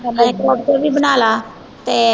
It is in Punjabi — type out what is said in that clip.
ਕੜੀ ਕੋਪਤੇ ਵੀ ਬਣਾ ਲਾ ਤੇ